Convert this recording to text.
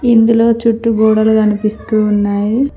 ఇందులో చుట్టూ గోడలు కనిపిస్తూ ఉన్నాయి.